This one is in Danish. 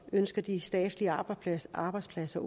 ønsker de statslige arbejdspladser arbejdspladser